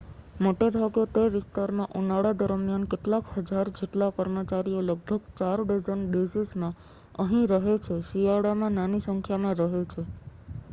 મોટેભાગે તે વિસ્તારમાં ઉનાળા દરમ્યાન કેટલાક હજાર જેટલા કર્મચારીઓ લગભગ 4 ડઝન બેઝીસ માં અહીં રહે છે શિયાળામાં નાની સંખ્યામાં રહે છે